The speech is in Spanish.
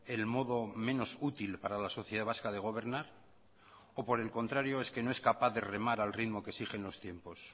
el modo menos útil para la sociedad vasca de gobernar o por el contrario es que no es capaz de remar al ritmo que exigen los tiempos